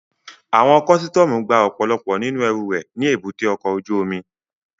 Àwọn kọ́sítọ́mù gba ọ̀pọ̀lọpọ̀ nínú ẹrù rẹ̀ ní èbúté ọkọ̀ ojú omi